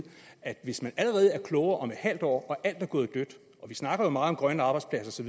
hvis man allerede er blevet klogere om et halvt år og alt er gået dødt vi snakker jo meget om grønne arbejdspladser